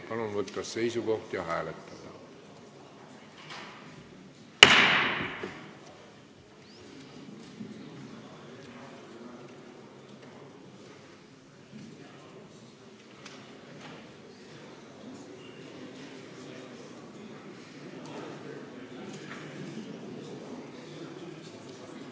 Palun võtta seisukoht ja hääletada!